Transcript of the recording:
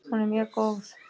Hún er mjög góð.